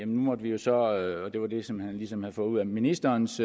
måtte vi jo så og det var det som han ligesom havde fået ud af ministerens